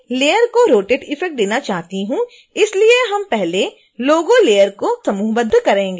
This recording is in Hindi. चूंकि मैं लेयर को rotate effect देना चाहती हूं इसलिए हम पहले logo layer को समूहबद्ध करेंगे